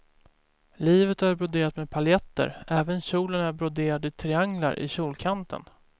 Livet är broderat med paljetter, även kjolen är broderad i trianglar i kjolkanten.